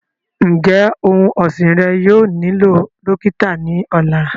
Njẹ ọun ọsin rẹ yóò nilo dokita ni ọla?